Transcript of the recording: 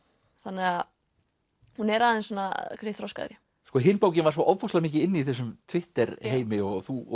þannig að hún er aðeins svona þroskaðri hin bókin var ofboðslega mikið inni í þessum Twitter heimi og þú